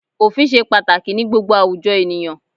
Òfin ṣe pàtàkì ní gbogbo àwùjọ ènìyàn.